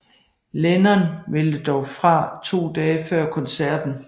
Lennon meldte dog fra to dage før koncerten